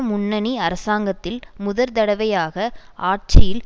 முன்னணி அரசாங்கத்தில் முதற்தடவையாக ஆட்சியில்